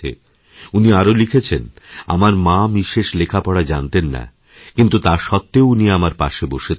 উনিআরো লিখেছেন আমার মা বিশেষ লেখাপড়া জানতেন না কিন্তু তা সত্ত্বেও উনি আমারপাশে বসে থাকতেন